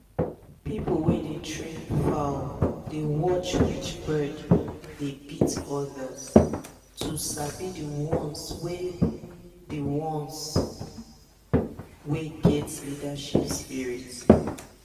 people wey dey train fowl dey watch which bird dey beat others to sabi the ones wey the ones wey get leadership spirit.